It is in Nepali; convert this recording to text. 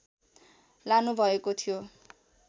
लानुभएको थियो